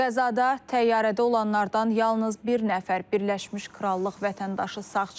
Qəzada təyyarədə olanlardan yalnız bir nəfər Birləşmiş Krallıq vətəndaşı sağ çıxıb.